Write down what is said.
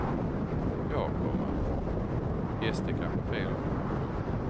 Ja, komma gäst är kanske fel ord. punkt